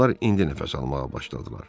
Adamlar indi nəfəs almağa başladılar.